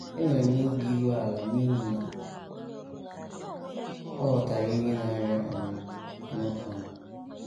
Enwere m obi iru ala n’ihi na ọ ghọtara ihe na - arịa um m um. ”